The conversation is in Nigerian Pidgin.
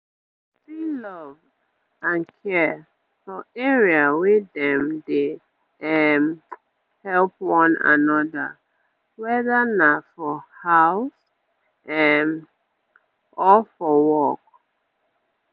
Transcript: you go see love and care for area wey dem dey um help one another weda na for house um or for work